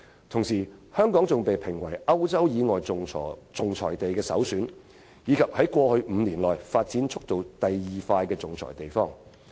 同時，香港被評為歐洲以外的首選仲裁地，並且是過去5年發展第二快的仲裁地方。